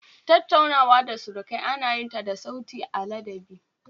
Tattaunawa da surukai ana yin ta da sauti na ladabi